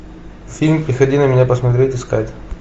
фильм приходи на меня посмотреть искать